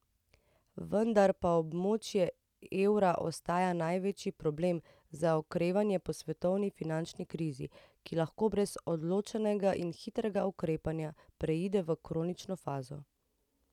Vendar pa območje evra ostaja največji problem za okrevanje po svetovni finančni krizi, ki lahko brez odločnega in hitrega ukrepanja preide v kronično fazo.